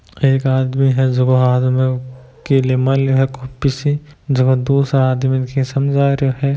एक आदमी है जको हाथ में की मेल्यो है कॉपी सी जको दूसरा आदमी ने की समझा रहियो है।